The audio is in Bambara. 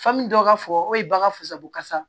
Fa min dɔw b'a fɔ o de ye bagan fusabokasa